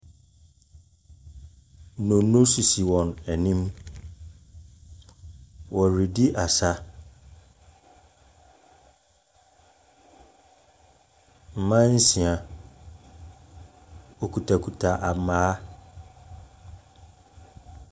Dondo sisi wɔn anim. Wɔredi asa. Mmaa nsia, wokita kita maa.